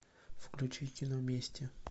включи кино мести